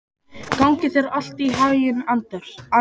Gangi þér allt í haginn, Anders.